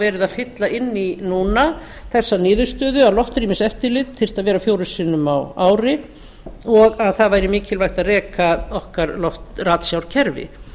er að fylla inn í núna þessa niðurstöðu að loftrýmiseftirlit þyrfti að vera fjórum sinnum á ári og að það væri mikilvægt að reka okkar ratsjárkerfi